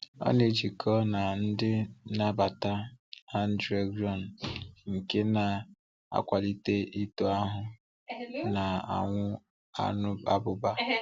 Ọ na-ejikọ na ndị nnabata androgen nke na-akwalíte ito ahụ na ọnwụ abụba.